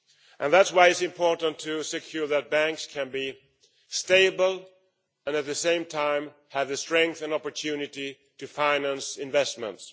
And that is why it is important to ensure that banks can be stable and at the same time have the strength and opportunity to finance investments.